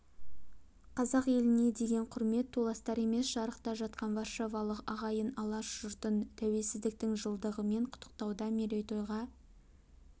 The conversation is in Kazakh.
қазақ еліне деген құрмет толастар емес жырақта жатқан варшавалық ағайын алаш жұртын тәуелсіздіктің жылдығымен құттықтауда мерейтойға